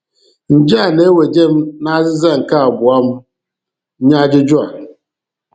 Nje a na-eweje m n'azịza nke abụọ m nye ajụjụ a.